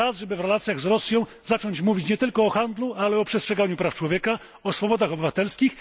Czas, żeby w relacjach z Rosją zacząć mówić nie tylko o handlu, ale także o przestrzeganiu praw człowieka, o swobodach obywatelskich.